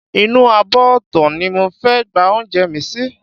Inú abọ́ ọ̀tọ̀ ni mo fẹ́ gba oúnjẹ mi sí